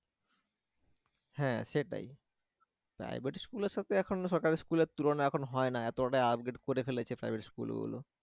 হ্যাঁ সেটাই private school এর সাথে এখন সরকারি school এর তুলনা এখন হয় না এতটাই upgrade করে ফেলেছে private school গুলো